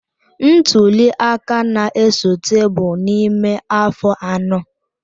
Ntuli aka na-esote bụ n'ime afọ anọ.